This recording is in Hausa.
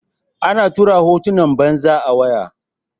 ana tura hotunan batsa a waya